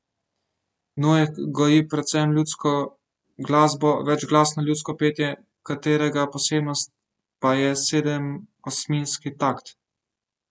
Nojek goji predvsem ljudsko glasbo, večglasno ljudsko petje, katerega posebnost pa je sedemosminski takt.